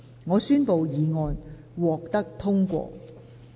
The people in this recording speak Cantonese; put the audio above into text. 我宣布議案獲得通過。